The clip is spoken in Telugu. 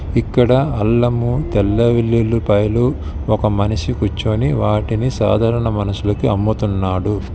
ఇక్కడ అల్లము తెల్ల వెల్లులిపాయలు ఒక మనిషి కూర్చోని వాటిని సాధారణ మనుషులకి అమ్ముతున్నాడు.